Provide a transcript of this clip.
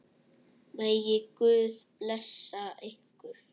Megi Guð blessa ykkur.